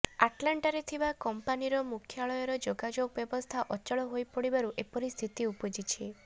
ଆଟ୍ଲାଣ୍ଟାରେ ଥିବା କମ୍ପାନୀର ମୁଖ୍ୟାଳୟର ଯୋଗାଯୋଗ ବ୍ୟବସ୍ଥା ଅଚଳ ହୋଇପଡିବାରୁ ଏପରି ସ୍ଥିତି ଉପୁଜିଛି